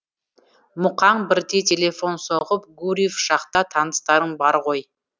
мұқаң бірде телефон соғып гурьев жақта таныстарың бар ғой